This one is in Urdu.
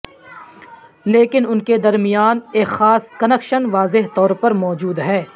لیکن ان کے درمیان ایک خاص کنکشن واضح طور پر موجود ہے